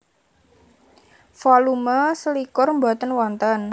Volume selikur boten wonten